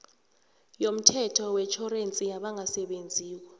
yomthetho wetjhorensi yabangasebenziko